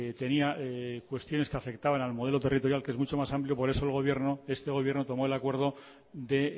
tenía cuestiones que afectaban al modelo territorial que es mucho más amplio por eso el gobierno este gobierno tomó el acuerdo de